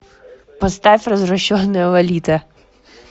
поставь развращенная лолита